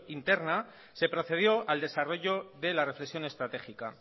interna se procedió al desarrollo de la reflexión estratégica